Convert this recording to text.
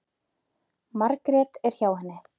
Margrét er hjá henni.